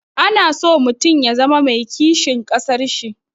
Ana so mutum ya zama mai kishin ƙasar shi.